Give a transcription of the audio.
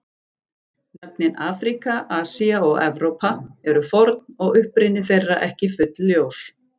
Nöfnin Afríka, Asía og Evrópa eru forn og uppruni þeirra ekki fullljós.